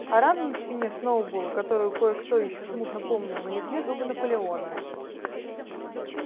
а рану на спине сноуболла которую кое-кто ещё смутно помнил нанесли зубы наполеона